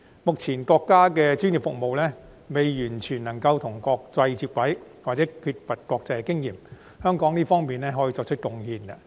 目前國家的專業服務尚未能完全與國際接軌，又或缺乏國際經驗，香港在這方面可作出貢獻。